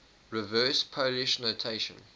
reverse polish notation